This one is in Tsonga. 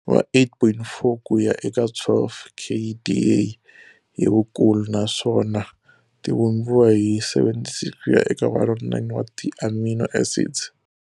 Va 8.4 ku ya eka 12 kDa hi vukulu naswona ti vumbiwa hi 76 kuya eka 109 wa ti amino acids.